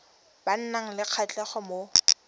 ba nang le kgatlhego mo